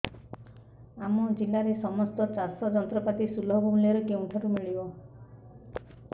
ଆମ ଜିଲ୍ଲାରେ ସମସ୍ତ ଚାଷ ଯନ୍ତ୍ରପାତି ସୁଲଭ ମୁଲ୍ଯରେ କେଉଁଠାରୁ ମିଳିବ